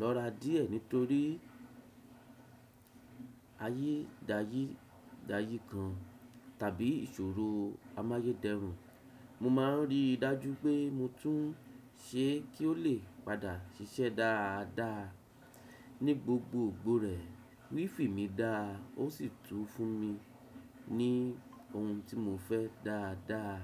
lọ́ra díẹ̀ nítorí ayédàyídàyí kan tàbí ìṣòro amáyédẹrùn, mo máa ń rí i dájú pé mo tún un ṣe kí ó lè padà ṣiṣẹ́ dáadáa. Ni gbogbo ògbó rẹ̀, WiFi mi dáa ó sì tún fún mi ní oun tí mo fẹ́ dáadáa.